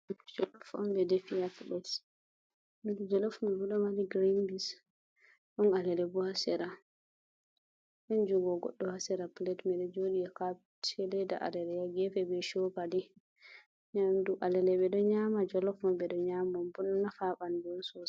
Jolof'on ɓe defi ha Pilet. Jelof mai ɗo mari girin beins, ɗon alale bo ha Sera, ɗon jungo godɗo ha Sera Pilet mai ɗo joɗi ha Kapet. See leda alele ha gefe be chokali. Nyamdu alale ɓe ɗo nyama jolof'on ɓe ɗo nyaman ɗum bo, ɗon Nafa ha ɓandu Sosai.